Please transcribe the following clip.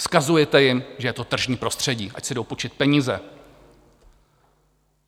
Vzkazujete jim, že je to tržní prostředí, ať si jdou půjčit peníze.